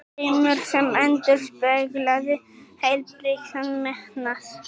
Draumur sem endurspeglaði heilbrigðan metnað.